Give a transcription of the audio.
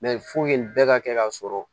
nin bɛɛ ka kɛ ka sɔrɔ